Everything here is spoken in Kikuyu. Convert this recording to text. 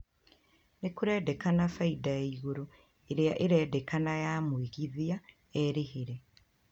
Nĩkũrendekana faida ya igũrũ ĩrĩa irendekana ya mwĩgithia erĩhĩre